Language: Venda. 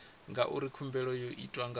ngauri khumbelo yo itwa nga